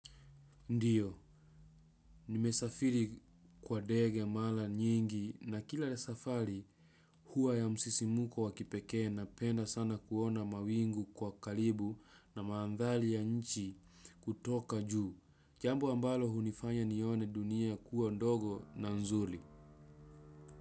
Ndio nimesafiri kwa ndenge mara nyingi na kila safari huwa ya msisimko wa kipekee napenda sana kuona mawingu kwa karibu na maandhari ya nchi kutoka juu. Jambo ambalo hunifanya nione dunia kuwa ndogo na nzuri.